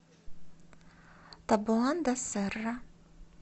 табоан да серра